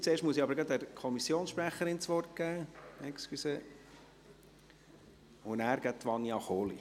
Zuerst muss ich der Kommissionssprecherin das Wort geben, entschuldigen Sie, und danach folgt Vania Kohli.